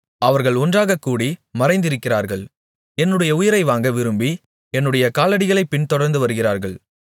அவர்கள் ஒன்றாகக் கூடி மறைந்திருக்கிறார்கள் என்னுடைய உயிரை வாங்க விரும்பி என்னுடைய காலடிகளைப் பின்தொடர்ந்து வருகிறார்கள்